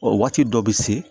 O waati dɔ be se